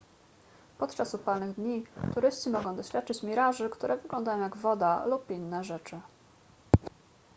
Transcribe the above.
podczas upalnych dni turyści mogą doświadczyć miraży które wyglądają jak woda lub inne rzeczy